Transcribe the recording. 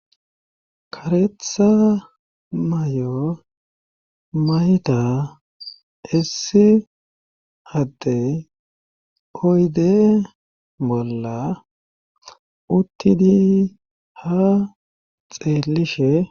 kareththa may'o mayida issi addey oydde bolla uttidii ha xeellishe